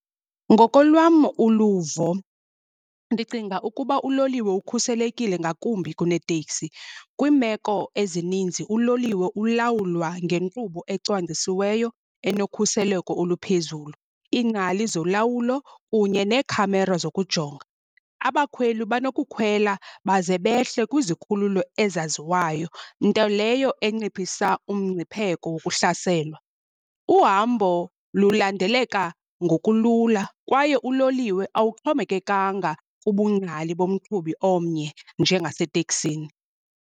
Ngokolwam uluvo ndicinga ukuba uloliwe ukhuselekile ngakumbi kuneteksi. Kwiimeko ezininzi uloliwe ulawulwa ngenkqubo ecwangcisiweyo enokhuseleko oluphezulu, iingcali zolawulo kunye neekhamera zokujonga. Abakhweli banokukhwela baze behle kwizikhululo ezaziwayo, nto leyo enciphisa umngcipheko wokuhlaselwa. Uhambo lulandeleka ngokulula kwaye uloliwe awuxhomekekanga kubungcali bomqhubi omnye njengaseteksini.